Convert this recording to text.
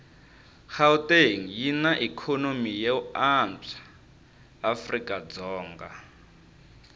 gauteng yinaikonomy yoanswa afrikadzonga